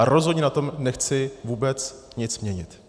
A rozhodně na tom nechci vůbec nic měnit.